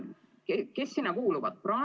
Kes sinna kuuluvad?